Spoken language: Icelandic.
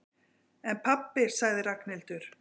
En pabbi sagði Ragnhildur.